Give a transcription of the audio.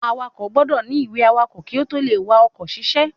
Awakọ̀ gbọ́dọ̀ ní ìwé awakọ̀ kí ó tó le wa oko ṣiṣẹ́